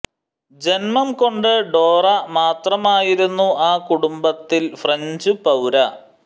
ജന്മം കൊണ്ട് ഡോറ മാത്രമായിരുന്നു ആ കുടുംബത്തിൽ ഫ്രഞ്ചു പൌര